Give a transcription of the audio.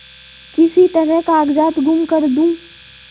किसी तरह कागजात गुम कर दूँ